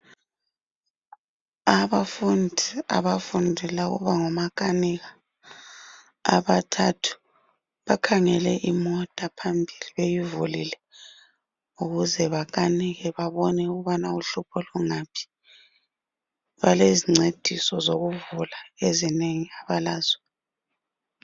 Abafundi abafundela ukuba ngomakanika abathathu bakhangele imota phambili beyivulile ukuze bakanike babone ukubana uhlupho lungaphi. Balezincediso zokuvula ezinengi abalazo.